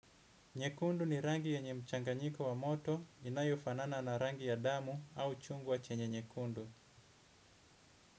Nyekundu ni rangi yenye mchanganyiko wa moto inayofana na rangi ya damu au chungwa chenye nyekundu.